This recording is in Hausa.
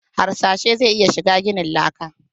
Harsashe zai iya shiga ginin laka?